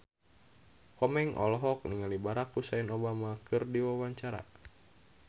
Komeng olohok ningali Barack Hussein Obama keur diwawancara